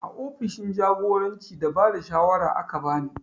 A ofishin jagoranci da bada shawara aka bani